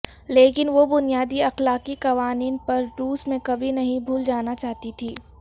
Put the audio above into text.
لیکن وہ بنیادی اخلاقی قوانین پر روس میں کبھی نہیں بھول جانا چاہتی تھی